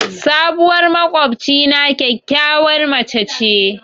Sabuwar maƙwabcina kyakkyawar mace ce.